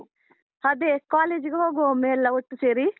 ಅದೇ college ಗೆ ಹೋಗುವ ಒಮ್ಮೆ ಎಲ್ಲ ಒಟ್ಟು ಸೇರಿ.